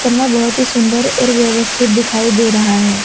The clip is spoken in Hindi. में बहुत ही सुंदर और व्यवस्थित दिखाई दे रहा है।